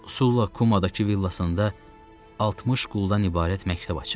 Sulla Kumadakı villasında 60 quldan ibarət məktəb açıb.